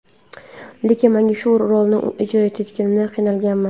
Lekin mana shu rolni ijro etayotganimda qiynalganman.